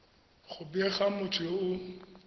go bega motho yo o